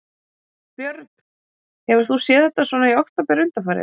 Björn: Hefur þú séð þetta svona í október undanfarið?